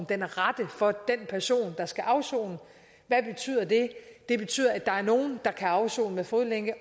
den rette for den person der skal afsone hvad betyder det det betyder at der er nogle der kan afsone med fodlænke